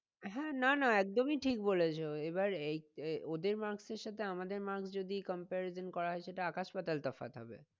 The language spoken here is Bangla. হ্যাঁ না না একদমই ঠিক বলেছো। এবার ওদের mark এর সাথে আমাদের mark যদি comparison করা হয় সেটা আকাশ পাতাল তফাৎ হবে।